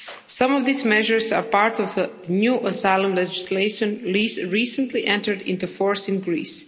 Some of these measures are part of the new asylum legislation which recently entered into force in Greece.